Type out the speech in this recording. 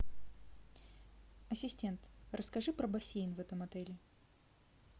ассистент расскажи про бассейн в этом отеле